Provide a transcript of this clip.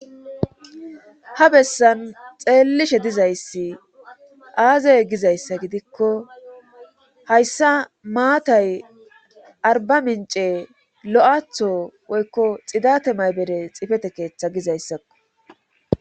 Ha bessan xeellishe dizayssi aazey gizayssa gidikko hayssa maatay arba mince lo'aththo woykko xidate maybere xifete keeththa gizayssakko